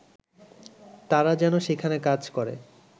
তারা যেন সেইখানে কাজ করে